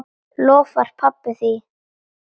Lofaði pabba því.